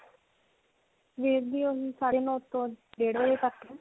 ਸਵੇਰ ਦੀ ਓਹੀ ਸਾਡੇ ਨੂੰ ਤੋਂ ਡੇਢ ਵਜੇ ਤੱਕ ਹੈ.